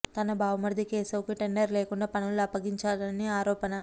తన బావమర్ధి కేశవ్ కు టెండర్ లేకుండా పనులు అప్పగించారని ఆరోపణ